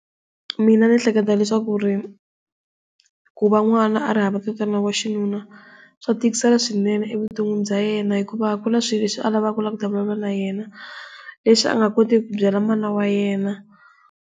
Mina ndzi ehleketa leswaku ri ku va n'wana a ri hava tatana wa xinuna swa tikisela swinene evuton'wini bya yena hikuva ku na swilo leswi a lavaka ku vulavula na yena leswi a nga kotiki ku byela mana wa yena.